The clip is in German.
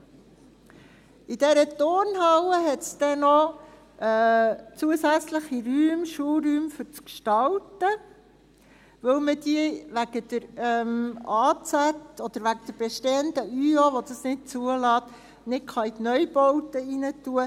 In dieser Turnhalle hat es dann noch zusätzliche Räume, Schulräume für das Gestalten, weil man diese wegen der Ausnützungsziffer (AZ) oder der bestehenden Überbauungsordnung (ÜO), die das nicht zulässt, nicht in die Neubauten hineinnehmen kann.